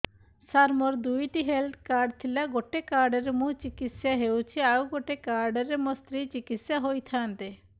ସାର ମୋର ଦୁଇଟି health card ଥିଲା ଗୋଟେ କାର୍ଡ ରେ ମୁଁ ଚିକିତ୍ସା ହେଉଛି ଆଉ ଗୋଟେ କାର୍ଡ ରେ ମୋ ସ୍ତ୍ରୀ ଚିକିତ୍ସା ହୋଇଥାନ୍ତେ